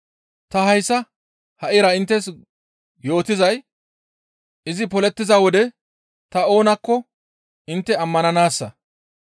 Ta hayssa ha7ira inttes yootizay izi polettiza wode ta oonakko intte ammananaassa.